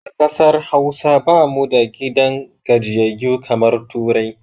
A ƙasar Hausa ba mu da gidan gajiyayyu kamar turai